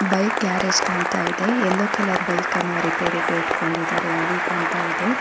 Bike garage ಕಾಣ್ತಾ ಇದೆ yellow colour ಬೈಕನ್ನ ರಿಪೇರಿಗೆ ಇಟ್ಕೊಂಡಿದ್ದಾರೆ ಅದು ಕಾಣ್ತಾ ಇದೆ.